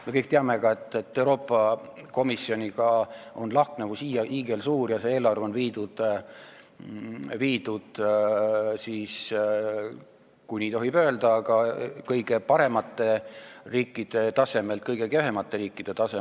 Me kõik teame ka, et Euroopa Komisjoni seisukohaga on lahknevus hiigelsuur ja meie eelarve on viidud, kui nii tohib öelda, kõige paremate riikide tasemelt kõige kehvemate riikide tasemele.